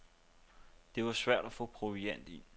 Det var svært at få proviant ind.